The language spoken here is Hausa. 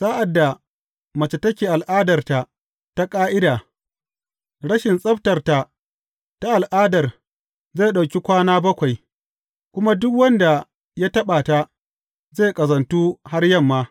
Sa’ad mace take al’adarta ta ƙa’ida, rashin tsabtarta ta al’adar zai ɗauki kwana bakwai, kuma duk wanda ya taɓa ta, zai ƙazantu har yamma.